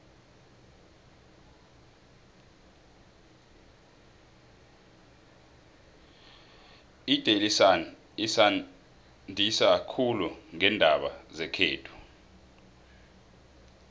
idaily sun isanzisa khulu ngeendaba zekhethu